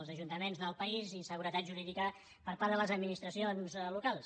els ajuntaments del país i inseguretat jurídica per part de les administracions locals